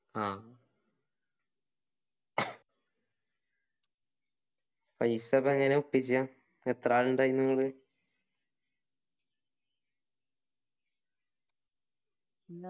ആ പൈസ ഒക്കെ എങ്ങനെയാ ഒപ്പിച്ചെ എത്ര ആള് ഇണ്ടായിനി നിങ്ങള്